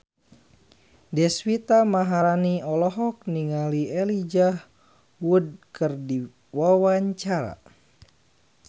Deswita Maharani olohok ningali Elijah Wood keur diwawancara